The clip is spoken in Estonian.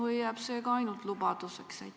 Või jääb ka see ainult lubaduseks?